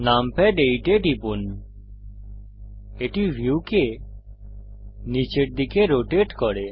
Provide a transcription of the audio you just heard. numpad 8 এ টিপুন এটি ভিউকে নীচের দিকে রোটেট করে